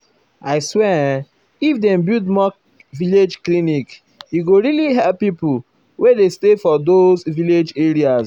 i swear [um][um]if dem build more village clinic e go really help pipo wey dey stay for those um village areas.